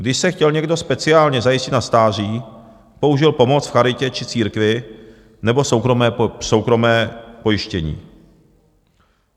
Když se chtěl někdo speciálně zajistit na stáří, použil pomoc v charitě či církvi nebo soukromé pojištění.